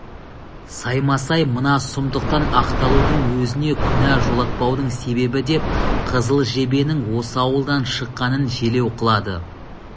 саймасай мына сұмдықтан ақталудың өзіне күнә жолатпаудың себебі деп қызыл жебенің осы ауылдан шыққанын желеу қылады